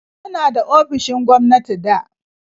Muna da ofisoshin gwamnati da